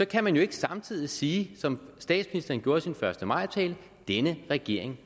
kan man jo ikke samtidig sige som statsministeren gjorde i sin første maj tale at denne regering